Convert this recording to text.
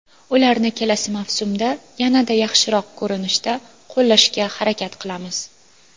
Ularni kelasi mavsumda yanada yaxshiroq ko‘rinishda qo‘llashga harakat qilamiz.